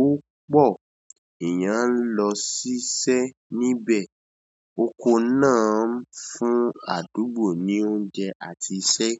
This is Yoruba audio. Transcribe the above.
ó pọ̀. Eeyan n lọ ṣiṣẹ́ níbẹ̀. Oko náà ń fún àdúgbò ní oúnjẹ àti iṣẹ́.